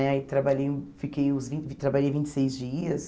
Né aí trabalhei fiquei os vin trabalhei vinte e seis dias.